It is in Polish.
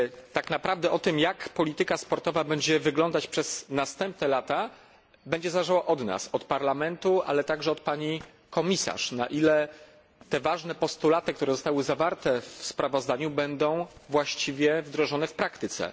Tak naprawdę to, jak polityka sportowa będzie wyglądać przez następne lata, będzie zależało od nas, od Parlamentu, ale także od Pani Komisarz, od tego, na ile te ważne postulaty, które zostały zawarte w sprawozdaniu, będą właściwie wdrożone w praktyce.